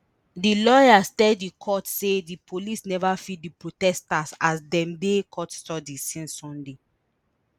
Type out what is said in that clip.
di lawyers tell di court say di police neva feed di protesters as dem dey custody since sunday